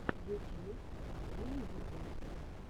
ютьюб элли ди пэтс